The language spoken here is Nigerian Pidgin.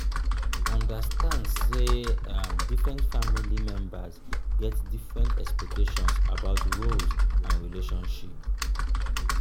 understand sey um different family members get different expectations about roles and relationship